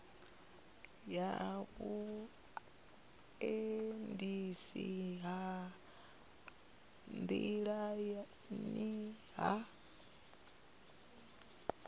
ya vhuendisi ha nḓilani ha